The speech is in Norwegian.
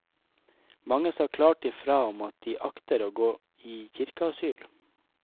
Mange sa klart i fra om at de akter å gå i kirkeasyl.